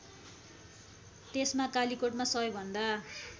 त्यसमा कालीकोटमा सबैभन्दा